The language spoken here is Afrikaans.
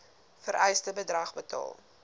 vereiste bedrag betaal